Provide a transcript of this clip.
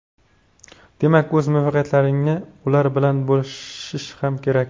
Demak, o‘z muvaffaqiyatlaringni ular bilan bo‘lishish ham kerak.